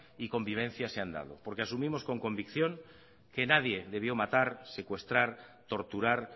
y convivencia se han dado porque asumimos con convicción que nadie debió matar secuestrar torturar